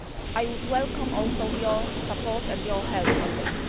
it. I would welcome also your support and your help on this.